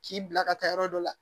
K'i bila ka taa yɔrɔ dɔ la